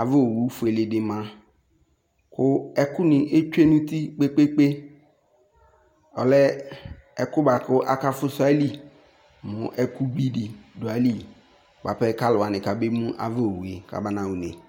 Ava owu fueleɖi ma, kʋ ɛkʋni etsue nʋ uti kpekpekpeɔlɛ ɛkʋboakʋ aka fusʋ aili mʋ ɛkʋbiɖi ɖʋ aili buapɛ k'aluwani k'ebemʋ k'abana ɣa ʋne